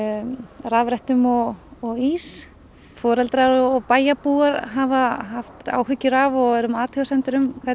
rafrettum og og ís foreldrar og bæjarbúar hafa haft áhyggjur af og verið með athugasemdir um hvernig